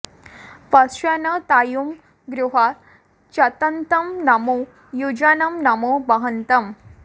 पश्वा न तायुं गुहा चतन्तं नमो युजानं नमो वहन्तम्